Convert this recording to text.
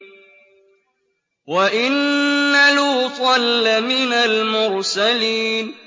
وَإِنَّ لُوطًا لَّمِنَ الْمُرْسَلِينَ